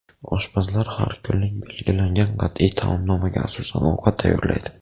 Oshpazlar har kunlik belgilangan qat’iy taomnomaga asosan ovqat tayyorlaydi.